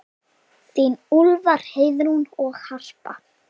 Þín Úlfar, Heiðrún og Harpa.